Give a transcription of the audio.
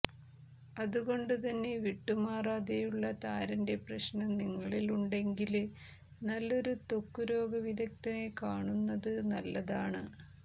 അതുകൊണ്ട് തന്നെ വിട്ടുമാറാതെയുള്ള താരന്റെ പ്രശ്നം നിങ്ങളിലുണ്ടെങ്കില് നല്ലൊരു ത്വക്ക് രോഗ വിദഗ്ധനെ കാണുന്നത് നല്ലതാണ്